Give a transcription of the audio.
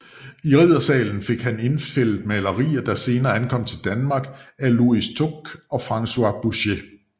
I riddersalen fik han indfældet malerier der senere ankom til Danmark af Louis Tocqué og François Boucher